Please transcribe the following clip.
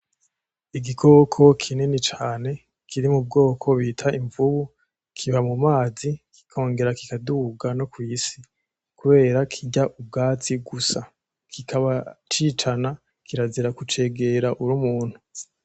Igikoko kinini cane kiri mu bwoko bita imvubu. Kiba mu mazi kikongera kikaduga no kwisi kubera kirya ubwatsi gusa. Kikaba cicana, kirazira kucegera uri umuntu.